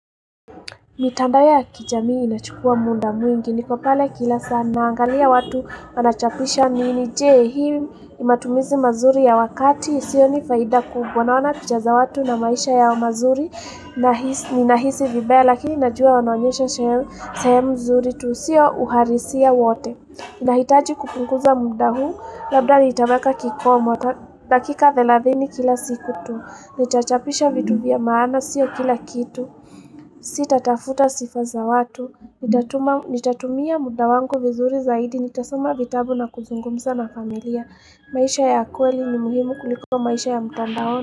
Mitandao ya kijamii inachukua muda mwingi, niko pale kila saa naangalia watu wanachapisha nini, je hii ni matumizi mazuri ya wakati, sioni faida kubwa, naona picha za watu na maisha yao mazuri, ninahisi vibaya lakini najua wanaonyesha sehemu nzuri tu, sio uhalisia wote. Nahitaji kupunguza muda huu, labda nitaweka kikomo dakika thelathini kila siku tu. Nitachapisha vitu vya maana sio kila kitu. Sitatafuta sifa za watu. Nitatumia muda wangu vizuri zaidi, nitasoma vitabu na kuzungumza na familia. Maisha ya kweli ni muhimu kuliko maisha ya mtandaoni.